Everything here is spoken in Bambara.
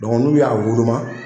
n'u y'a woloma.